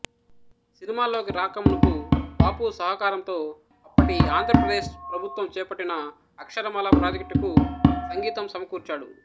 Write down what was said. సినిమాల్లోకి రాక మునుపు బాపు సహకారంతో అప్పటి ఆంధ్రప్రదేశ్ ప్రభుత్వం చేపట్టిన అక్షరమాల ప్రాజెక్టుకు సంగీతం సమకూర్చాడు